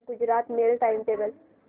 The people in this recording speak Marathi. Gujarat mail time table